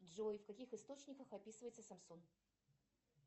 джой в каких источниках описывается самсон